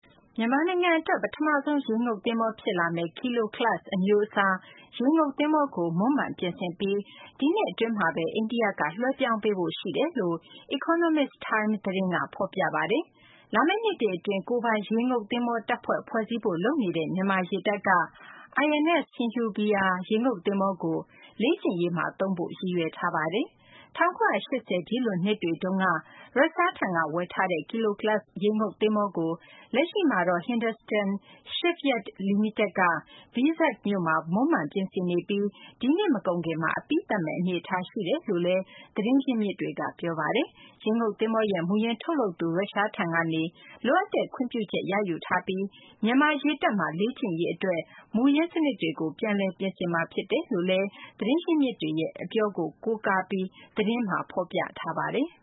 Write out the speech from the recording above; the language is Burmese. မြန်မာနိုင်ငံ အတွက် ပထမဆုံး ရေငုပ်သဘောၤ ဖြစ်လာမယ့် ဒီဇယ်နဲ့ လျှပ်စစ်ဓါတ်အားသုံး Kilo class အမျိုးအစား ရေငုပ်သဘောၤကို မွမ်းမံပြင်ဆင်ပြီး ဒီနှစ် အတွင်းမှာဘဲ အိန္ဒိယက လွှဲပြောင်းပေးဖို့ ရှိတယ်လို့ Economic Times သတင်းက ဖော်ပြပါတယ်။ လာမယ့် နှစ်တွေ အတွင်း ကိုယ်ပိုင်ရေငုပ်သဘောၤ တပ်ဖွဲ့ ဖွဲ့စည်းဖို့ လုပ်နေတဲ့ မြန်မာ့ ရေတပ်က INS Sindhuvir ရေငုပ်သဘောၤကို လေ့ကျင့်ရေးမှာ သုံးဖို့ ရည်ရွယ်ထားပါတယ်။ ၁၉၈၀ ပြည့်လွန်နှစ်တွေတုန်းက ရုရှားထံက ဝယ်ထားတဲ့ Kilo class ရေငုပ်သဘောၤကို လက်ရှိမှာတော့ Hindustan Shipyard လီမိတက်က Vizag မြို့မှာ မွမ်းမံ ပြင်ဆင်နေပြီး ဒီနှစ် မကုန်ခင်မှာ အပြီးသတ်မယ့် အနေအထား ရှိတယ်လို့လည်း သတင်းရင်းမြစ်တွေက ပြောပါတယ်။ ရေငုပ် သဘောၤရဲ့ မူရင်းထုတ်လုပ်သူ ရုရှားထံကနေ လိုအပ်တဲ့ ခွင့်ပြုချက် ရယူထားပြီး မြန်မာ ရေတပ်မှာ လေ့ကျင့်ရေး အတွက် မူရင်းစနစ်တွေကို ပြန်လည် ပြင်ဆင်မှာ ဖြစ်တယ်လို့လည်း သတင်းရင်းမြစ်တွေရဲ့ အပြောကို ကိုးကားပြီး သတင်းမှာ ဖော်ပြထားပါတယ်။